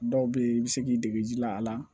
Dɔw bɛ yen i bɛ se k'i dege ji la a la